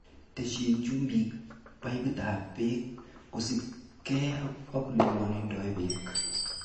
Teshin chumbik paiputab beek kosiibge ak ele bwonundo beek.